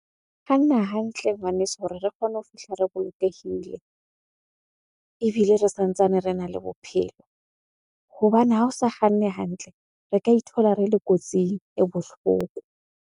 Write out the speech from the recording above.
Kganna hantle ngwaneso hore re kgone ho fihla re bolokehile, ebile re santsane rena le bophelo. Hobane ha o sa kganne hantle, re ka ithola re le kotsing e bohloko.